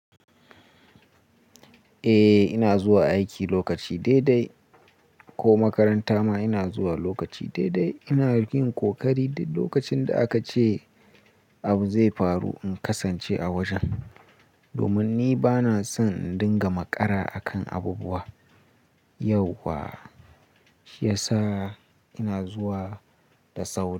Eh ina zuwa aiki lokaci daidai ko makaranta ma ina zuwa lokaci dai-dai. Ina yin ƙoƙari duk lokacin da aka ce abu zai faru, in kasance a wajen. Domin ni bana son in dinga makara a kan abubuwa. Yau kuwa shi ya sa ina zuwa da sauri.